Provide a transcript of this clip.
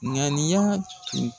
Ŋaniya